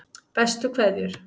Bestu kveðjur